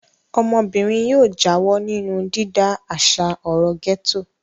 Ọmọbìnrin yóò yóò jáwọ́ nínú dídá àṣà ọ̀rọ̀ gẹ́tò.